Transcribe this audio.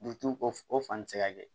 ko o fan ti se ka kɛ